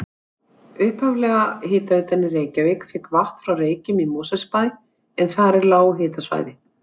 Upphaflega hitaveitan í Reykjavík fékk vatn frá Reykjum í Mosfellsbæ en þar er lághitasvæði.